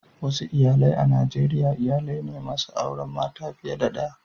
Wasu iyalai a Najeriya iyalai ne masu auren mata fiye da daya.